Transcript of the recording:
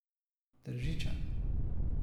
Tržičan.